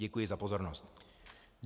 Děkuji za pozornost.